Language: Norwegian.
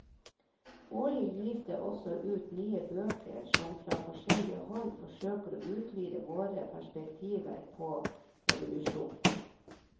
Årlig gis det også ut nye bøker som fra forskjellig hold forsøker å utvide våre perspektiver på evolusjonen.